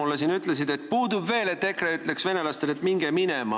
Te enne ütlesite, et puudub veel see, et EKRE ütleks venelastele, et minge minema.